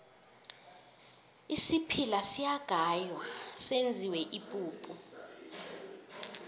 isiphila siyagaywa senziwe ipuphu